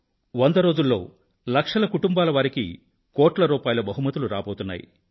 వంద రోజుల్లో లక్షల కుటుంబాల వారికి కోట్ల రూపాయిల బహుమతులు రాబోతున్నాయి